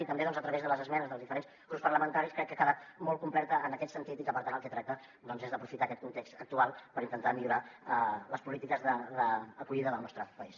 i també a través de les esmenes dels diferents grups parlamentaris crec que ha quedat molt completa en aquest sentit i que per tant el que tracta doncs és d’aprofitar aquest context actual per intentar millorar les polítiques d’acollida del nostre país